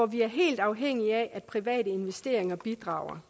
vi er helt afhængige af at private investeringer bidrager